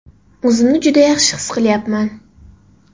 O‘zimni juda yaxshi his qilyapman.